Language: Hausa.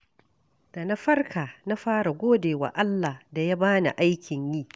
Da na farka, na fara gode wa Allah da ya ba ni aikin yi.